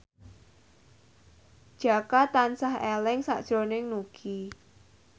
Jaka tansah eling sakjroning Nugie